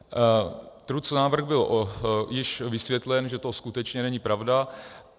Trucnávrh byl již vysvětlen, že to skutečně není pravda.